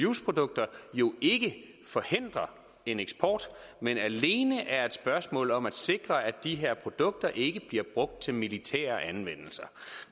use produkter ikke forhindrer en eksport men alene er et spørgsmål om at sikre at de her produkter ikke bliver brugt til militære anvendelser